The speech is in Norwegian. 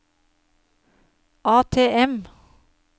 ATM